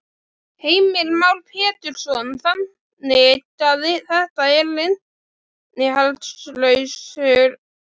Heimir Már Pétursson: Þannig að þetta eru innihaldslausar yfirlýsingar?